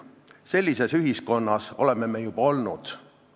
Sellises ühiskonnas oleme me juba olnud.